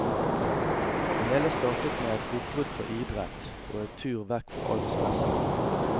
Det hele startet med et oppbrudd fra idrett og en tur vekk fra alt stresset.